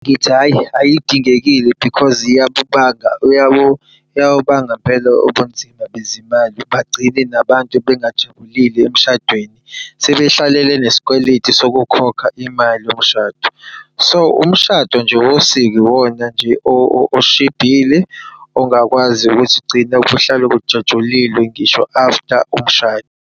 Ngithi hhayi, ayidingekile because iyawubanga mpela ubunzima bezimali, bagcine nabantu bengajabulile emshadweni. Sebehlalele nesikweletu sokukhokha imali yomshado. So, umshado nje wosiko iwona nje oshibhile, ongakwazi ukuthi ugcine kuhlalwe kujatshulilwe ngisho after umshado.